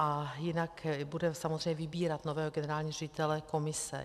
A jinak bude samozřejmě vybírat nového generálního ředitele komise.